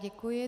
Děkuji.